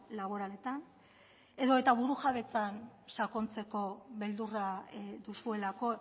laboraletan edota burujabetzan sakontzeko beldurra duzuelako